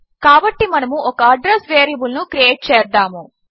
కాబట్టి మనము ఒక అడ్రస్ వేరియబుల్ ను క్రియేట్ చేద్దాము